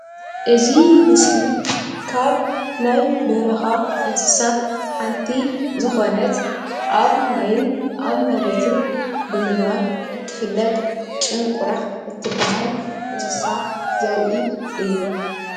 እዚ ምስሊ ካብ ናይ በረኻ እንስሳት ሓንቲ ዝኾነት ኣብ ማይን ኣብ መሬትን ብምንባር እትፍለጥ ጭንቁራዕ እትበሃል እንስሳ ዘርኢ እዩ